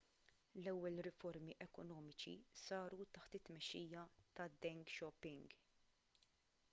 l-ewwel riformi ekonomiċi saru taħt it-tmexxija ta' deng xiaoping